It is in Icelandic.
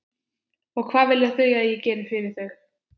Og hvað vilja þau að ég geri fyrir þau?